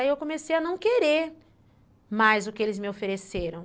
Aí eu comecei a não querer mais o que eles me ofereceram.